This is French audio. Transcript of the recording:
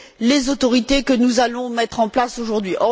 les autorités que nous allons mettre en place aujourd'hui.